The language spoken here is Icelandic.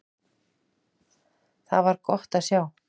Það var gott að sjá.